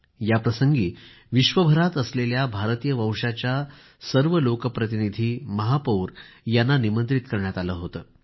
याप्रसंगी विश्वभरामध्ये असलेल्या भारतीय वंशाच्या सर्व लोकप्रतिनिधी महापौर यांना निमंत्रित करण्यात आलं होतं